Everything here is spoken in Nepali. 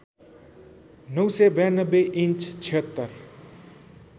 ९९२ इन्च ७६